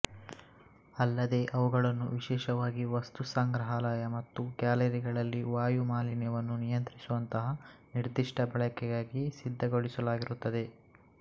ಅಲ್ಲದೇ ಅವುಗಳನ್ನು ವಿಶೇಷವಾಗಿ ವಸ್ತು ಸಂಗ್ರಹಾಲಯ ಮತ್ತು ಗ್ಯಾಲರಿಗಳಲ್ಲಿ ವಾಯು ಮಾಲಿನ್ಯವನ್ನು ನಿಯಂತ್ರಿಸುವಂತಹ ನಿರ್ಧಿಷ್ಟ ಬಳಕೆಗಾಗಿ ಸಿದ್ಧಗೊಳಿಸಲಾಗಿರುತ್ತದೆ